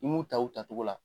I m'u ta u tatogo la